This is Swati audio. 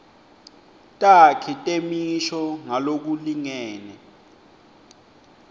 takhi temisho ngalokulingene